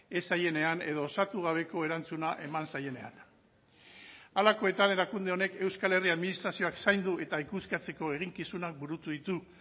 ez zaienean edo osatu gabeko erantzuna eman zaienean halakoetan erakunde honek euskal herri administrazioak zaindu eta ikuskatzeko eginkizunak burutu ditu